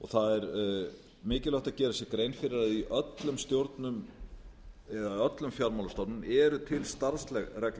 það er mikilvægt að gera sér grein fyrir að í öllum stjórnum eða öllum fjármálastofnunum eru til starfsreglur